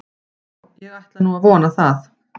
Já, ég ætla nú að vona það.